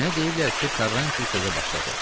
Mənə deyiblər ki, Karranti sözə başladı.